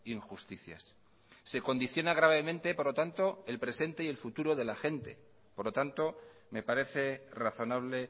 injusticias se condiciona gravemente por lo tanto el presente y el futuro de la gente por lo tanto me parece razonable